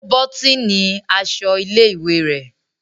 O botini aṣọ ilé-ìwé rẹ.